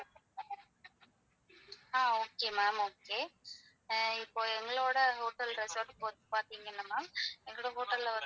ஆஹ் okay ma'am okay ஆ இப்போ எங்களோட hotel resort பார்த்தீங்கன்னா எங்க hotel ல வந்து.